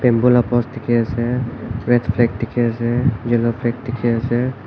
bamboo laa post red flag dikhi ase yellow flag dikhi ase.